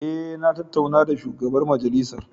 Eh na tattauna da shugaban majalisar.